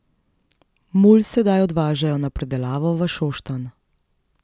Mulj sedaj odvažajo na predelavo v Šoštanj.